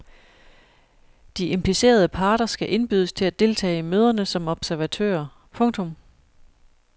De implicerede parter skal indbydes til at deltage i møderne som observatører. punktum